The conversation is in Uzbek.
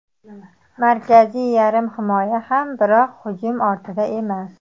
Markaziy yarim himoya ham, biroq hujum ortida emas.